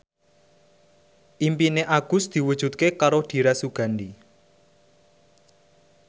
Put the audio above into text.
impine Agus diwujudke karo Dira Sugandi